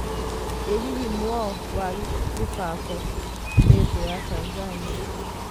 ĩ hihi, Mwao wa Gĩbako nĩ ' thũ' ya Tanzania?